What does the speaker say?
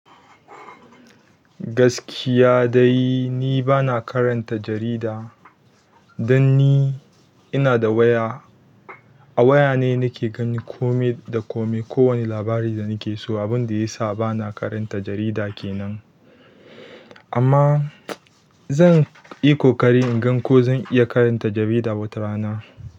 Gaskiya dai ni bana karanta jarida, dan ni ina da waya. A waya ne nake gan komai da komai. Ko wani labari da nake so. Abun da ya sa bana karanta jarida kenan. Amma zan yi koƙari in gan ko zan iya karanta jarida wata rana.